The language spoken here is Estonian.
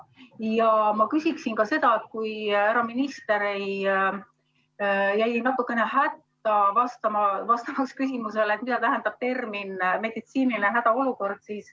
Ja ma küsin ka seoses sellega, et härra minister jäi natukene hätta, vastamaks küsimusele, mida tähendab termin "meditsiiniline hädaolukord".